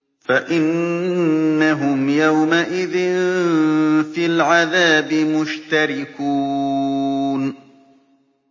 فَإِنَّهُمْ يَوْمَئِذٍ فِي الْعَذَابِ مُشْتَرِكُونَ